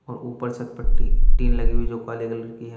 और ऊपर छत पर टी टीन लगी हुई जो काले कलर की है।